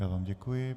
Já vám děkuji.